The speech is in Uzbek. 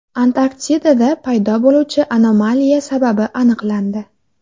Antarktidada paydo bo‘luvchi anomaliya sababi aniqlandi.